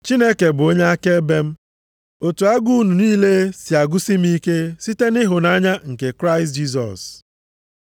Chineke bụ onye akaebe m, otu agụụ unu niile si agụsi m ike site nʼịhụnanya nke Kraịst Jisọs.